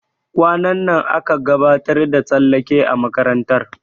Kwanan nan aƙa gabatar da tsallake a makarantar.